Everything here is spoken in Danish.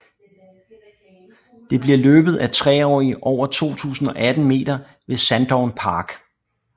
Det bliver løbet af treårige over 2 018 meter ved Sandown Park